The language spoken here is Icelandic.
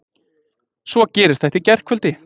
Svo gerist þetta í gærkvöldi!